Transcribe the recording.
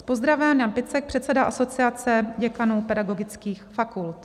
S pozdravem Jan Picek, předseda Asociace děkanů pedagogických fakult.